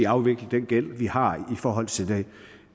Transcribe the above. afvikle den gæld vi har i forhold til